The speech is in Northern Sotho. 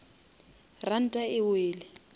ranta e wele